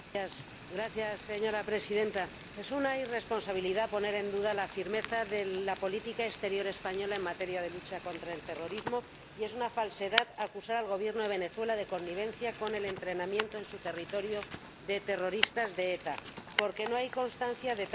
Señora Presidenta, es una irresponsabilidad poner en duda la firmeza de la política exterior española en materia de lucha contra el terrorismo y es una falsedad acusar al Gobierno de Venezuela de connivencia con el entrenamiento de terroristas de ETA en su territorio, porque no hay constancia de tal connivencia.